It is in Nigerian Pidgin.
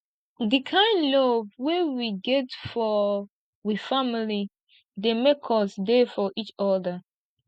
di kind love wey we get for we family dey make us dey for eachoda